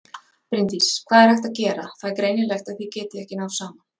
Bryndís: Hvað er hægt að gera, það er greinilegt að þið getið ekki náð saman?